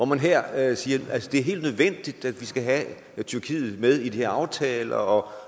man her at at det er helt nødvendigt at vi skal have tyrkiet med i de her aftaler og